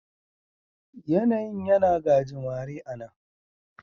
Yanayin yana gajimare a' nan.